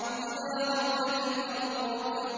إِذَا رُجَّتِ الْأَرْضُ رَجًّا